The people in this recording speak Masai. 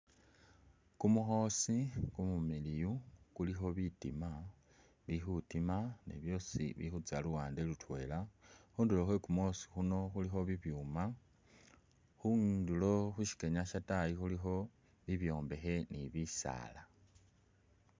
Kumukhoosi kumumiliyu kulikho bitiima bili khutiima ne byosi bili khutsa luwande lutwela, khundulo khwe kumukhoosi kuno khulikho bibyuma, khubundolo khusikenya khwotaayi khulikho bibyombekhe ne bisaala.